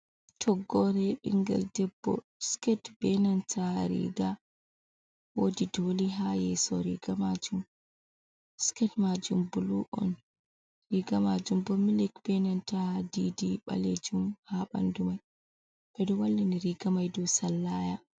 Toggore ɓingel debbo, siket benanta riga. Wodi doli ha yeso riga majum. siiket majum bulu’on, riga majum bo millic benanta didi ɓalejum ha ɓandu mai. Ɓeɗo wallini riga may dow sallaya.